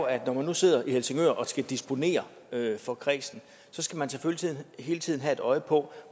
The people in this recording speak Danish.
at når man nu sidder i helsingør og skal disponere for kredsen så skal man selvfølgelig hele tiden have et øje på